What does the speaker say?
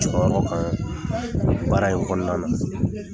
kan baara in kɔnɔna na.